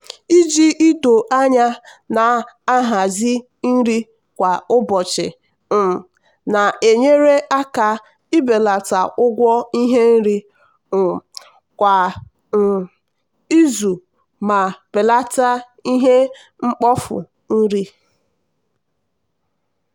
ji ido anya na-ahazi nri kwa ụbọchị um na-enyere aka ibelata ụgwọ ihe nri um kwa um izu ma belata ihe mkpofu nri.